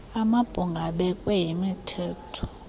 amabhunga abekwe yimithetho